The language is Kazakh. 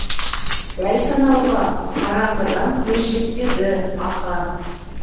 дәл санауға қараңғыда көз жетпеді ақа